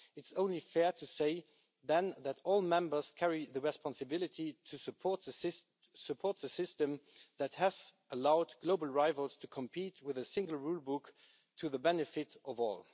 It's only fair to say, then, that all members carry the responsibility to support the system that has allowed global rivals to compete with a single rulebook, to the benefit of all.